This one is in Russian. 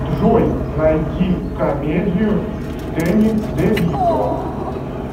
джой найди комедию с дэнни девито